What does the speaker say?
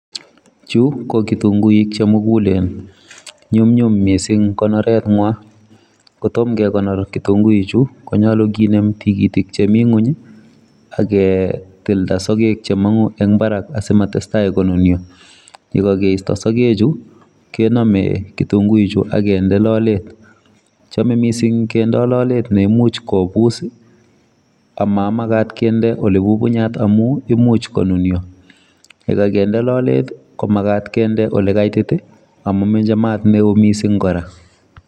chu ko kitunguik chemugulen. Numnyum mising konorenwa, kotom kekonor kitunguichu konyolu kenem tikitik chemi ng'uny aketilda sogek chemong'u eng barak asimatestai konunyo. Yekakeisto sogechu kenome kitunguichu akende lolet. Chome mising kende lolet neimuch kobus amamakat kende olebubunyat amu imuch konunyo. Yekakende lolet ko makat kende olekaitit amameche mat neo mising kora.